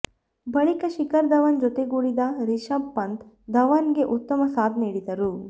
ಬಳಿಕ ಶಿಖರ್ ಧವನ್ ಜೊತೆಗೂಡಿದ ರಿಷಬ್ ಪಂತ್ ಧವನ್ ಗೆ ಉತ್ತಮ ಸಾಥ್ ನೀಡಿದರು